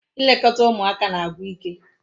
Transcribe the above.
Ilekọta ụmụaka na-agwụ ike